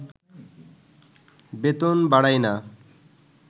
বেতন বাড়ায়না